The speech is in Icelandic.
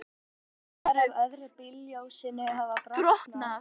Gler af öðru bílljósinu hafði brotnað.